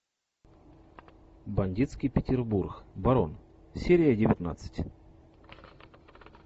бандитский петербург барон серия девятнадцать